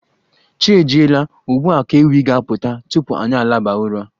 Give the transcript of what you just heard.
Chi ejiela, ugbua ka ewi ga-aputa tupu anyi alaba ụra.